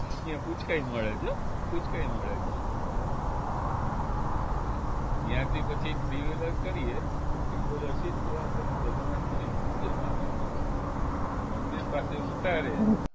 ઈયા પુચકાય મળે છે હો પુચકાય મળે છે ઈય હા ઇયાથી પછી three wheeler કરીએ તો three wheeler સીધું આપણને જગન્નાથપુરી મંદિરમાં લઇ જાય મંદિર પાસે ઉતારે